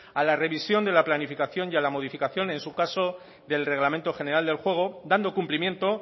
a la revisión de la planificación y la modificación en su caso del reglamento general del juego dando cumplimiento